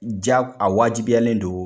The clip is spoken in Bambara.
Ja a wajibiyalen don